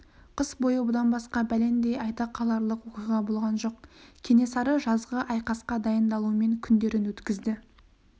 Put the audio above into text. қыс бойы бұдан басқа бәлендей айта қаларлық оқиға болған жоқ кенесары жазғы айқасқа дайындалумен күндерін өткізді